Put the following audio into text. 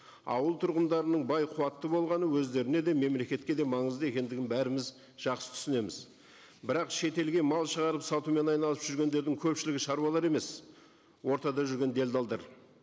ауыл тұрғындарының бай қуатты болғаны өздеріне де мемлекетке де маңызды екендігін бәріміз жақсы түсінеміз бірақ шетелге мал шығарып сатумен айналысып жүргендердің көпшілігі шаруалар емес ортада жүрген делдалдар